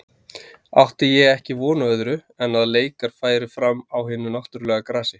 Átti ég ekki von á öðru en að leikar færu fram á hinu náttúrulega grasi.